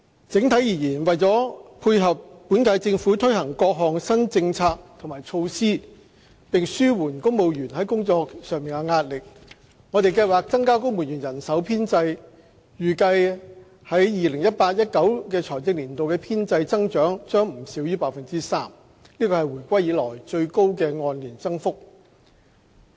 整體而言，為了配合本屆政府推行各項新政策和措施，並紓緩公務員的工作壓力，我們計劃增加公務員人手編制，預計在 2018-2019 財政年度的編制增長將不少於 3%， 是回歸以來最高的按年增幅。